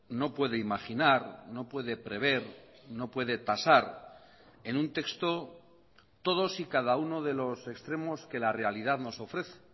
no puede imaginar no puede prever no puede tasar en un texto todos y cada uno de los extremos que la realidad nos ofrece